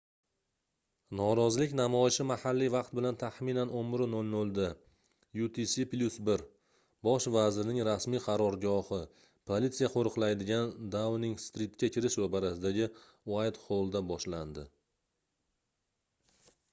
norozilik namoyishi mahalliy vaqt bilan taxminan 11:00 da utc+1 bosh vazirning rasmiy qarorgohi – politsiya qo'riqlaydigan dauning-stritga kirish ro'parasidagi uaytxollda boshlandi